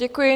Děkuji.